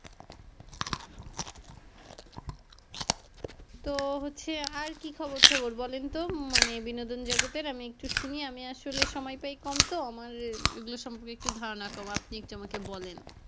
তো হচ্ছে আর কী খবর টবর বলেন তো মানে বিনোদন জগতের আমি শুনি আমি আসলে সময় পাই কম তো আমার এইগুলা সম্পর্কে একটু ধারনা কম আপনি একটু আমাকে বলেন।